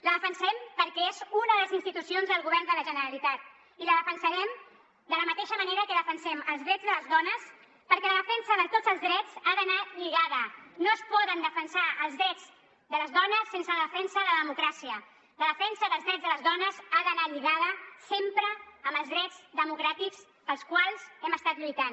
la defensarem perquè és una de les institucions del govern de la generalitat i la defensarem de la mateixa manera que defensem els drets de les dones perquè la defensa de tots els drets ha d’anar lligada no es poden defensar els drets de les dones sense la defensa de la democràcia la defensa dels drets de les dones ha d’anar lligada sempre amb els drets democràtics pels quals hem estat lluitant